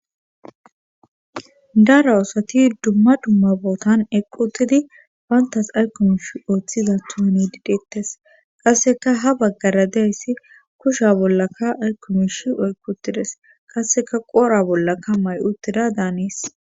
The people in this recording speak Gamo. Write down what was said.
dara oosati dumma dumma bootan eqqutidi bayntas aykkumish ooththiza tuhani dideettes qasseka ha baggara deyssi kusha bollaka aykkumish oyqutides qasseka qoora bollaka may7utida daanis